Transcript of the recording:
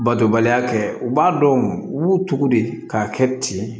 Batobaliya kɛ u b'a dɔn u b'u tugu de k'a kɛ ten